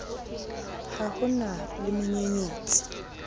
ha ho na le menyenyetsi